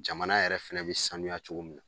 Jamana yɛrɛ fɛnɛ bɛ saniya cogo min na